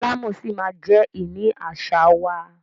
Ilé alámọ̀ ṣí ma jẹ ìní àṣà wa.